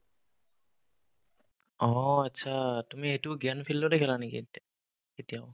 অ, achcha তুমি এইটো জ্ঞান field তে খেলা নেকি এ এতিয়াও